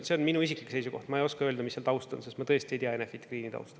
See on minu isiklik seisukoht, ma ei oska öelda, mis seal taust on, sest ma tõesti ei tea Enefit Greeni tausta.